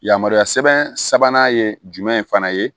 Yamaruya sɛbɛn sabanan ye jumɛn ye fana ye